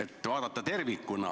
Tuleks vaadata tervikuna.